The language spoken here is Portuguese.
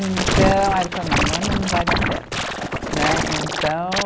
Então, aí ele falou, não, um ano não vai dar certo, né, então.